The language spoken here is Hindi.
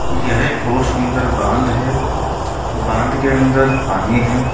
यह एक बहुत सुंदर बांध है बांध के अंदर पानी है।